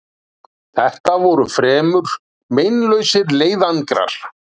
Þetta voru fremur meinlausir leiðangrar.